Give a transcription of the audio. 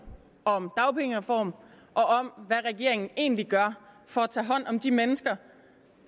om dagpengereform og om hvad regeringen egentlig gør for at tage hånd om de mennesker